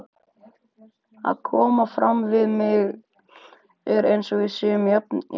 Að koma fram við mig eins og við séum jafningjar!